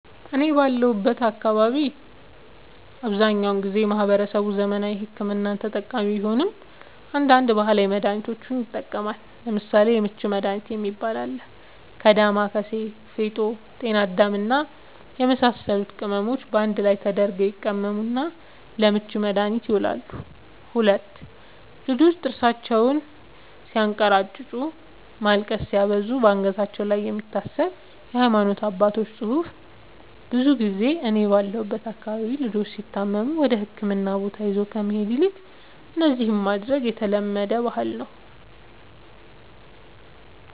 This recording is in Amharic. እኔ ባለሁበት አካባቢ አብዛኛውን ጊዜ ማህበረሰቡ ዘመናዊ ሕክምና ተጠቃሚ ቢሆንም አንዳንድ ባህላዊ መድሃኒቶችንም ይጠቀማሉ ለምሳሌ:- የምች መድሃኒት የሚባል አለ ከ ዳማከሲ ፌጦ ጤናአዳም ወዘተ የመሳሰሉት ቅመሞች ባንድ ላይ ተደርገው ይቀመሙና ለምች መድኃኒትነት ይውላሉ 2, ልጆች ጥርሳቸውን ስያንከራጭጩ ማልቀስ ሲያበዙ ባንገታቸው ላይ የሚታሰር የሃይማኖት አባቶች ፅሁፍ ብዙ ጊዜ እኔ ባለሁበት አካባቢ ልጆች ሲታመሙ ወደህክምና ቦታ ይዞ ከመሄድ ይልቅ እነዚህን ማድረግ የተለመደ ባህል ነዉ